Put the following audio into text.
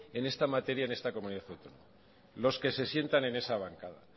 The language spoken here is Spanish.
en esta materia en esta comunidad autónoma los que se sientan en esa bancada